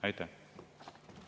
Aitäh!